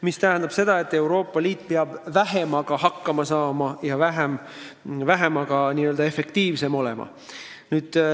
See tähendab seda, et Euroopa Liit peab vähemaga hakkama saama ja selle võrra efektiivsem olema.